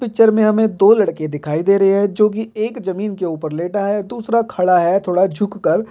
picture में हमें दो लडके दिखाई दे रहे है जो की एक जामिन के ऊपर लेटा हैदूसरा खड़ा है थोड़ा झुक कर--